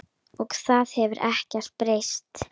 Og það hefur ekkert breyst.